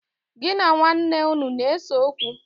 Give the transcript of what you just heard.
Gi na nwaane unu na-ese okwu?